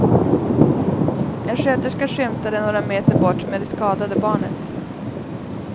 En sköterska skymtade några meter bort med det skadade barnet.